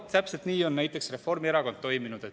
Aga täpselt nii on näiteks Reformierakond toiminud.